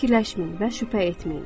Çox fikirləşməyin və şübhə etməyin.